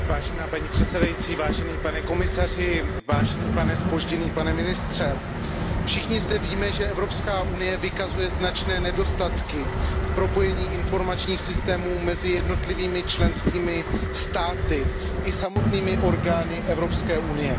Paní předsedající, pane komisaři, pane ministře, všichni zde víme, že Evropská unie vykazuje značné nedostatky v propojení informačních systémů mezi jednotlivými členskými státy i samotnými orgány Evropské unie.